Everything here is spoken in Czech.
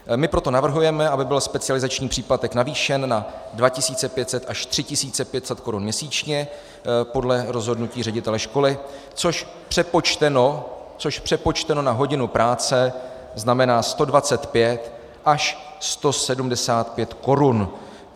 My proto navrhujeme, aby byl specializační příplatek navýšen na 2 500 až 3 500 korun měsíčně podle rozhodnutí ředitele školy, což přepočteno na hodinu práce znamená 125 až 175 korun.